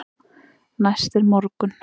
Næst er morgunn.